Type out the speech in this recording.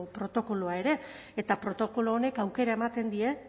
protokoloa ere eta protokolo honek aukera ematen die